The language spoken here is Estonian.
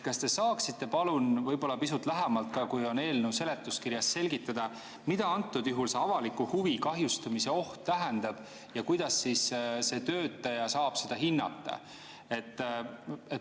Kas te saaksite palun pisut lähemalt, kui on eelnõu seletuskirjas, selgitada, mida antud juhul see avaliku huvi kahjustumise oht tähendab ja kuidas see töötaja saab seda hinnata?